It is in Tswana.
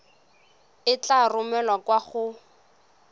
e tla romelwa kwa go